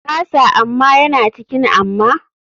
Kasa amma yana cikin amma.